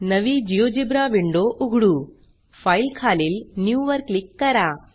नवी GeoGebra window उघडू file खालील न्यू वर क्लिक करा